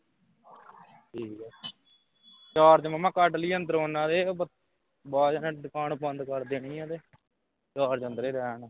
ਠੀਕ ਆ charge ਮਾਮਾ ਕੱਢ ਲਈਏ ਅੰਦਰੋ ਉਨ੍ਹਾਂ ਦੇ । ਬਾਅਦ ਵਿਚ ਦੁਕਾਨ ਬੰਦ ਕਰ ਦੇਣੀ ਆ ਤੇ, ਰਾਤ ਅੰਦਰੇ ਰਹਿਣ।